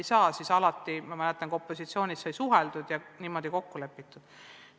Ma mäletan, kuidas sellistel puhkudel sai alati opositsioonis suheldud ja kokku lepitud.